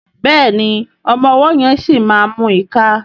Béèni ọmọ ọwó yén sí mú ìká.